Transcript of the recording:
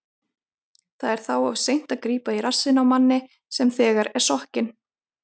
Það er þá of seint að grípa í rassinn á manni sem þegar er sokkinn.